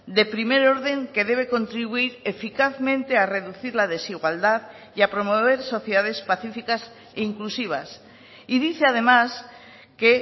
de primer orden que debe contribuir eficazmente a reducir la desigualdad y a promover sociedades pacíficas e inclusivas y dice además que